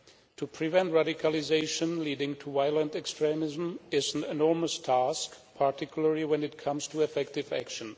To prevent radicalisation leading to violent extremism is an enormous task, particularly when it comes to effective action.